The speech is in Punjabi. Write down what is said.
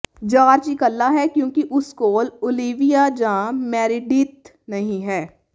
ਜਾਰਜ ਇਕੱਲਾ ਹੈ ਕਿਉਂਕਿ ਉਸ ਕੋਲ ਓਲੀਵੀਆ ਜਾਂ ਮੈਰੀਡੀਥ ਨਹੀਂ ਹੈ